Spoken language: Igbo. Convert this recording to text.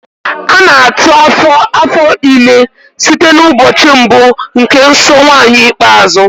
A na-atụ afo afọ ime site n'ụbọchị mbụ nke nsọ nwaanyi ikpeazụ